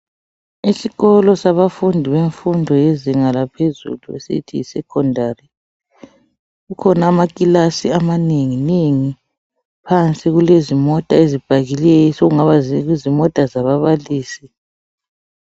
Isikolo sabafundi bemfundo yezinga laphezulu esithi yi secondary kukhona amakilasi amanenginengi phansi kule zimota ezipakileyo sokungaba zimota zimota zababalisi .